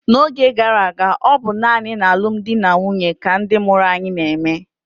n'oge gara aga, ọ bụ naanị n'alụmdi na nwunye ka ndị mụrụ anyị na-eme